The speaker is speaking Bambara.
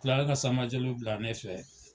Kila la ka Sanba Jalo bila ne fɛ.